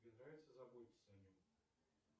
тебе нравится заботиться о нем